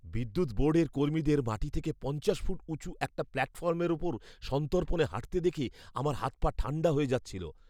বিদ্যুৎ বোর্ডের কর্মীদের মাটি থেকে পঞ্চাশ ফুট উঁচু একটা প্ল্যাটফর্মের ওপর সন্তর্পণে হাঁটতে দেখে আমার হাত পা ঠাণ্ডা হয়ে যাচ্ছিল।